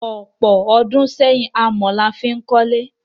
Ọ̀pọ̀ ọdún sẹ́yìn, amọ̀ ni a fí n kólé.